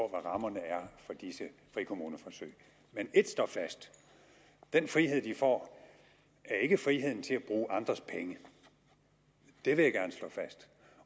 rammerne er for disse frikommuneforsøg men ét står fast den frihed de får er ikke friheden til at bruge andres penge det vil jeg gerne slå fast